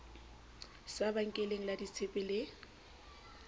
sa benkeleng la ditshepe le